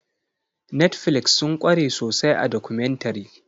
Netflix sun kware sosai a documentary.